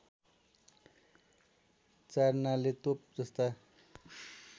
चारनाले तोप जस्ता